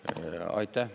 Aitäh!